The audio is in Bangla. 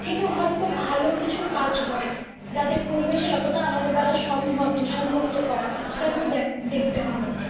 থেকেও হয়তো ভালো কিছু কাজ করা যাতে পরিবেশের অতটা আমাদের দ্বারা সম্ভব দূষণমুক্ত করা সেটা আমাদের দেখ দেখতে হবে।